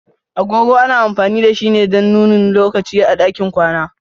Agogo ana amfani da shi ne don nuni lokaci a ɗakin kwana.